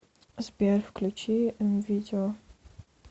сбер включи эм видео